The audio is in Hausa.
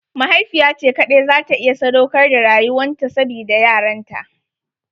Mahaifiya ce kaɗai za ta iya sadaukar da rayuwan ta sabida yaranta.